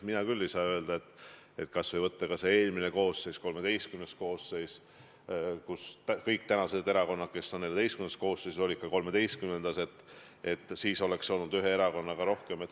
Mina küll ei saa öelda, et kui võtta eelmine, XIII koosseis – kõik erakonnad, kes on praegu XIV koosseisus, olid ka XIII koosseisus –, et siis oleks olnud ühe erakonnaga rohkem muret.